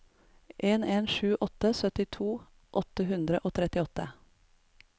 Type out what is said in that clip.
en en sju åtte syttito åtte hundre og trettiåtte